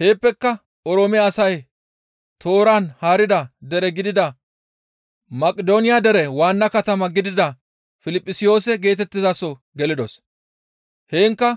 Heeppeka Oroome asay tooran haarida dere gidida Maqidooniya dere waanna katama gidida Piliphisiyoose geetettizaso gelidos; heenkka